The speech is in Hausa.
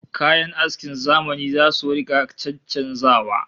Kayan askin zamani zasu rika caccanzawa